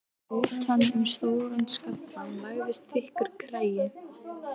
Utan um stóran skallann lagðist þykkur kragi.